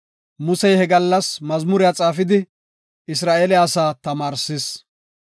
Musey he gallas mazmuriya xaafidi, Isra7eele asaa tamaarsis.